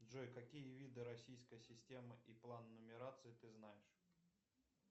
джой какие виды российской системы и план нумерации ты знаешь